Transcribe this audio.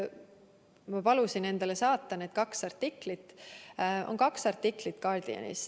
Ma palusin endale saata need kaks artiklit, The Guardianis on kaks artiklit.